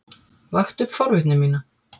Vakti upp forvitni mína.